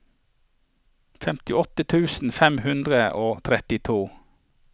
femtiåtte tusen fem hundre og trettito